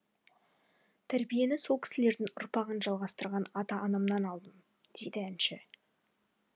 тәрбиені сол кісілердің ұрпағын жалғастырған ата анамен алдым дейді әнші